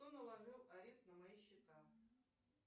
кто наложил арест на мои счета